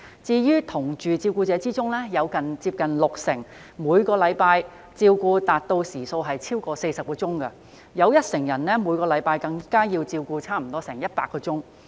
在"同住照顧者"中，有近六成人每周照顧時數超過40小時，有一成人每周照顧時數更高達100小時。